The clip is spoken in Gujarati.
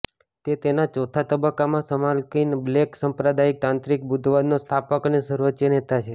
તે તેના ચોથા તબક્કામાં સમકાલીન બ્લેક સંપ્રદાય તાંત્રિક બુદ્ધવાદના સ્થાપક અને સર્વોચ્ચ નેતા છે